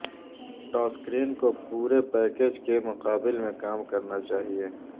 ٹاسکرین کو پورے پیکیج کے مقابل میں کام کرنا چاہئے